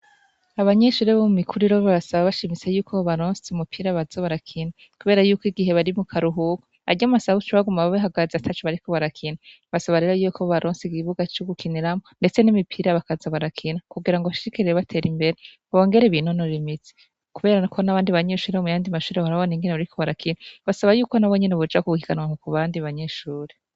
Abanyeshure bo mu mikuru iroro basaba bashimise yuko o balonsi umupira baza barakina, kubera yuko igihe bari mu karuhuko aryomasabucu baguma babe hagazi atacu bariko barakina basabarero yuko b' balonsi igibuga c'ugukiniramo, ndetse n'imipira bakaza barakina kugira ngo bashikireye batera imbere babongera ibinonora imizi kuberana ko n'abandi abanyeshure bo muyandi mashuri horabona ingene bariko rakinbasaba yuko na bo nyene bujakubukikanwa nku ku bandi banyeshuri.